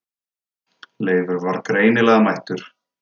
Leifur var greinilega mættur.